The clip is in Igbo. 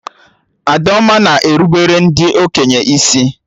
Adaoma na erubere ndị okenye isi